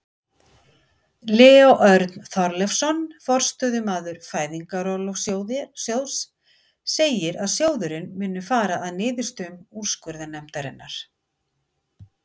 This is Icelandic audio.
Leó Örn Þorleifsson, forstöðumaður Fæðingarorlofssjóðs segir að sjóðurinn muni fara að niðurstöðum úrskurðarnefndarinnar.